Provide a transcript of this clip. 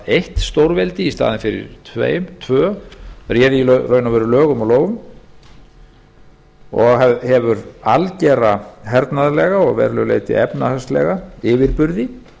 eitt stórveldi í staðinn fyrir tvö réði í raun og veru lögum og lofum og hefur algera hernaðarlega og að verulegu leyti efnahagslega yfirburði